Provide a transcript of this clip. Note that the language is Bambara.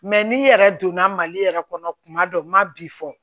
Mɛ n'i yɛrɛ donna mali yɛrɛ kɔnɔ kuma dɔ n ma bi fɔ